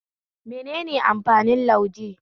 Menene amfanin lauje?